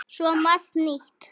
Svo margt nýtt.